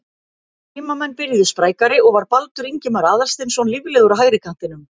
Heimamenn byrjuðu sprækari og var Baldur Ingimar Aðalsteinsson líflegur á hægri kantinum.